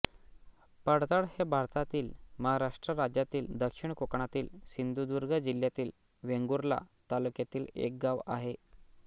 पडतळ हे भारतातील महाराष्ट्र राज्यातील दक्षिण कोकणातील सिंधुदुर्ग जिल्ह्यातील वेंगुर्ला तालुक्यातील एक गाव आहे